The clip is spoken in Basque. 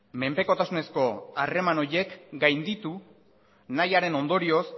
menpekotasunezko harreman horiek gainditu nahiaren ondorioz